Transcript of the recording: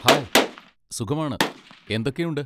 Hi, സുഖമാണ്. എന്തൊക്കെയുണ്ട്?